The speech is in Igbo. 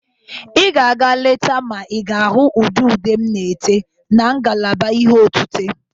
Ị ga-aga leta ma ị ga-ahụ ụdị ude m na-ete na ngalaba ihe otite.